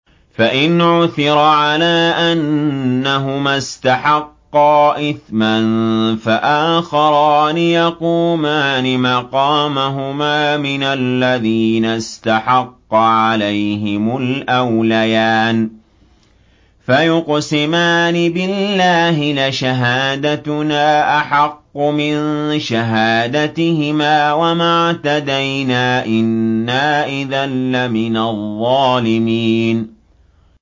فَإِنْ عُثِرَ عَلَىٰ أَنَّهُمَا اسْتَحَقَّا إِثْمًا فَآخَرَانِ يَقُومَانِ مَقَامَهُمَا مِنَ الَّذِينَ اسْتَحَقَّ عَلَيْهِمُ الْأَوْلَيَانِ فَيُقْسِمَانِ بِاللَّهِ لَشَهَادَتُنَا أَحَقُّ مِن شَهَادَتِهِمَا وَمَا اعْتَدَيْنَا إِنَّا إِذًا لَّمِنَ الظَّالِمِينَ